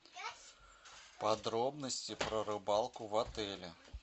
подробности про рыбалку в отеле